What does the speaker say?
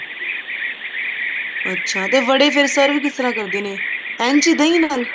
ਅੱਛਾ ਤੇ ਵਡੇ ਫ਼ੇਰ serve ਕਿਸ ਤਰ੍ਹਾਂ ਕਰਦੇ ਨੇ ਇੰਝ ਹੀ ਦਹੀਂ ਨਾਲ